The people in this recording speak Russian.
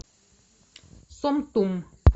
сомтум